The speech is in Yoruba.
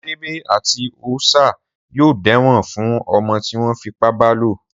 Sèbé àti Òòṣà yóò dẹ́wọ̀n fún ọmọ tí wọ́n fipá bálò.